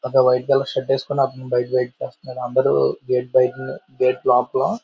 ఒక white colour shirt వేసుకొని అతను వెయిట్ చేస్తున్నాడు.అందరూ గేట్ బయట గేట్ లోపల--